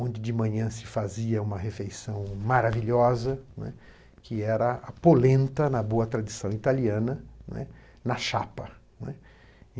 onde de manhã se fazia uma refeição maravilhosa, né, que era a polenta, na boa tradição italiana, né, na chapa, né.